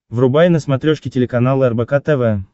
врубай на смотрешке телеканал рбк тв